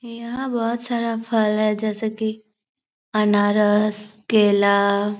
यहां बहुत सारा फल है जैसे कि अनारस केला --